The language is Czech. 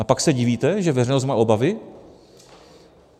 A pak se divíte, že veřejnost má obavy?